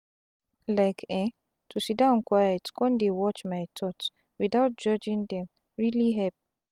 like eh to siddon quiet con dey watch my thoughts without judging dem really help.